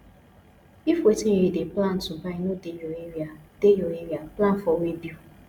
if wetin you dey plan to buy no dey your area dey your area plan for weighbill